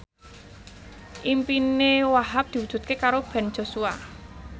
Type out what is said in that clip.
impine Wahhab diwujudke karo Ben Joshua